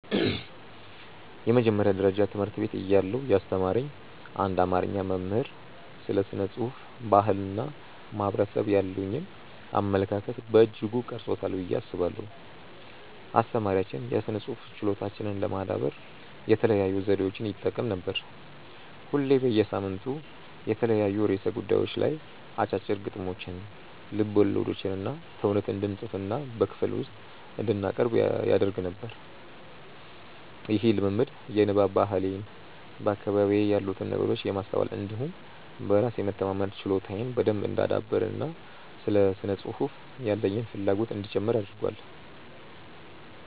የመጀመሪያ ደረጃ ትምህርት ቤት እያለሁ ያስተማረኝ አንድ አማርኛ መምህር ስለ ስነ ጽሁፍ፣ ባህል እና ማህበረሰብ ያሉኝን አመለካከት በእጅጉ ቀርጾታል ብዬ አስባለሁ። አስተማሪያችን የስነ ጽሁፍ ችሎታችንን ለማዳበር የተለያዩ ዘዴዎችን ይጠቀም ነበር። ሁሌ በየሳምንቱ በተለያዩ ርዕሰ ጉዳዮች ላይ አጫጭር ግጥሞችን፣ ልቦለዶችንና ተውኔት እንድንፅፍና በክፍል ውስጥ እንድናቀርብ ያደርግ ነበር። ይህ ልምምድ የንባብ ባህሌን፣ በአካባቢዬ ያሉትን ነገሮች የማስተዋል እንዲሁም በራስ የመተማመን ችሎታዬን በደንብ እንዳዳብር እና ለስነ ጽሁፍ ያለኝን ፍላጎትም እንዲጨምር አድርጓል።